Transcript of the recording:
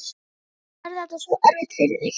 Annars verður þetta svo erfitt fyrir þig.